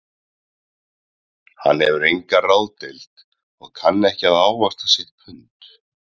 Hann hefur enga ráðdeild og kann ekki að ávaxta sitt pund